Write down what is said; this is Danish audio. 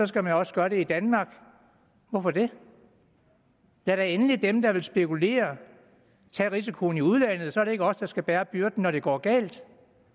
skal man også gøre det i danmark hvorfor det lad da endelig dem der vil spekulere tage risikoen i udlandet så er det ikke os der skal bære byrden når det går galt